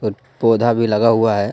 पौधा भी लगा हुआ है.